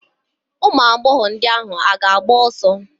Ụmụagbọghọ ndị ahụ agba ọsọ?